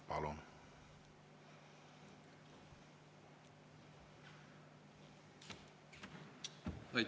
Palun!